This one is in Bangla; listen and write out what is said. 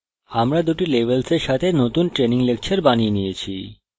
আমরা দুটি levels সাথে নতুন training লেকচর বানিয়ে নিয়েছি